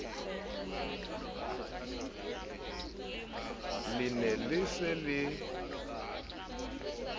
le ne le se le